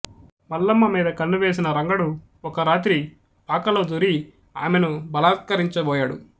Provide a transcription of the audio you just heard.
మల్లమ్మ మీద కన్ను వేసిన రంగడు ఒక రాత్రి పాకలో దూరి ఆమెను బలాత్కరించబోయాడు